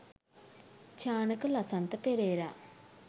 Chanaka Lasantha Perera